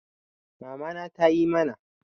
Mamana tayi mana